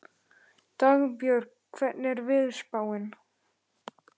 Dagbjörg, hvernig er veðurspáin?